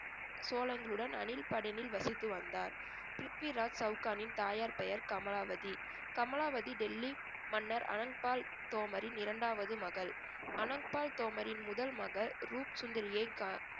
சோளங்களுடன் அணில்படனில் வசித்து வந்தார். பிரித்விராஜ் சவுகானின் தாயார் பெயர் கமலாவதி. கமலாவதி டெல்லி மன்னர் அனந்த் பால் தோமரின் இரண்டாவது மகள். அனந்த் பால் தோமரின் முதல் மகள் ரூப் சுந்தரியை கா~